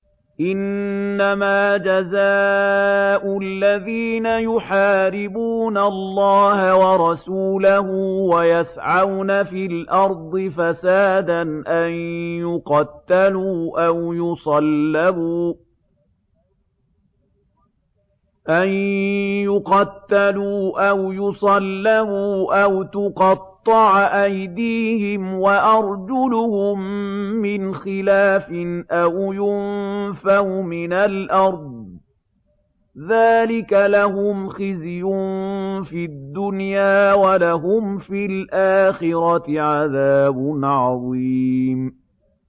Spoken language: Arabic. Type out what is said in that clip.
إِنَّمَا جَزَاءُ الَّذِينَ يُحَارِبُونَ اللَّهَ وَرَسُولَهُ وَيَسْعَوْنَ فِي الْأَرْضِ فَسَادًا أَن يُقَتَّلُوا أَوْ يُصَلَّبُوا أَوْ تُقَطَّعَ أَيْدِيهِمْ وَأَرْجُلُهُم مِّنْ خِلَافٍ أَوْ يُنفَوْا مِنَ الْأَرْضِ ۚ ذَٰلِكَ لَهُمْ خِزْيٌ فِي الدُّنْيَا ۖ وَلَهُمْ فِي الْآخِرَةِ عَذَابٌ عَظِيمٌ